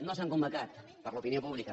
no s’han convocat per a l’opinió pública